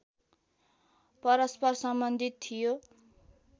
परस्पर सम्बन्धित थियो